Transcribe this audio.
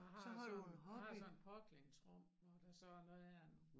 Jeg har sådan jeg har sådan et påklædningsrum hvor der så er noget her nu